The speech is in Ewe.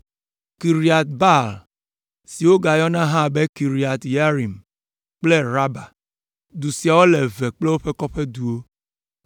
Kiriat Baal (si wogayɔna hã be Kiriat Yearim) kple Raba. Du siawo le eve kple woƒe kɔƒeduwo.